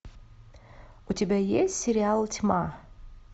у тебя есть сериал тьма